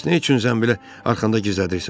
Bəs nə üçün zənbili arxanda gizlədirsən?